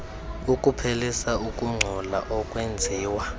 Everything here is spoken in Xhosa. ukuphelisa ukungcola okwenziwa